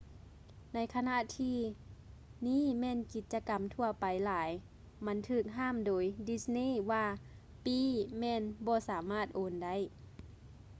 ໃນຂະນະທີ່ ນີ້ແມ່ນກິດຈະກຳທົ່ວໄປຫຼາຍ ມັນຖືກຫ້າມໂດຍ ດິດສ໌ນີ່ disney ວ່າ: ປີ້ແມ່ນບໍ່ສາມາດໂອນໄດ້